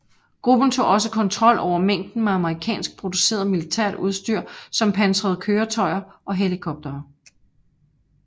Gruppen tog også kontrol over mængder med amerikansk produceret militært udstyr som pansrede køretøjer og helikoptere